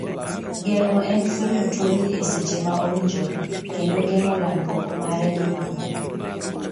Geng'o en fwenyo tuo ni e seche ma owinjore, kendo geng'o landruok mare gi mamoko.